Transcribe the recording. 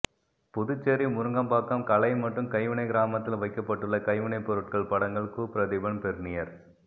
புதுச்சேரி முருங்கப்பாக்கம் கலை மற்றும் கைவினை கிராமத்தில் வைக்கப்பட்டுள்ள கைவினை பொருட்கள் படங்கள் கு பிரதீபன் பெர்னியர்